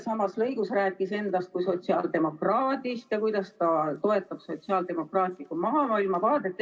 Samas lõigus rääkis ta endast kui sotsiaaldemokraadist ja sellest, kuidas ta toetab sotsiaaldemokraatlikku maailmavaadet.